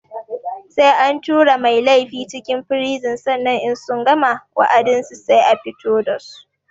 Sai an tura mai laifi cikin firizin sannan in sun gama wa'adinsu sai a fito dasu